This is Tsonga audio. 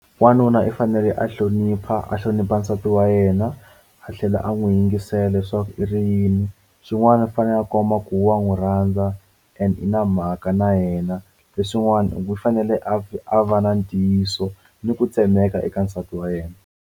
N'wanuna i fanele a hlonipha a hlonipha nsati wa yena a tlhela a n'wi yingisela leswaku i ri yini xin'wana i fanele a kuma ku wa n'wi rhandza and na mhaka na yena leswin'wana loko u fanele a va na ntiyiso ni ku tshembeka eka nsati wa yena.